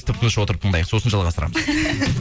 тып тыныш отырып тыңдайық сосын жалғастырамыз